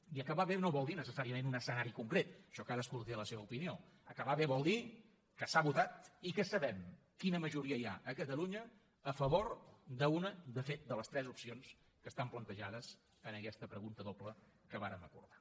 i acabar bé no vol dir necessàriament un escenari concret això cadascú hi té la seva opinió acabar bé vol dir que s’ha votat i que sabem quina majoria hi ha a catalunya a favor d’una de fet de les tres opcions que estan plantejades en aquesta pregunta doble que vàrem acordar